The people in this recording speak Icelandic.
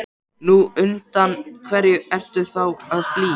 Nú, undan hverju ertu þá að flýja?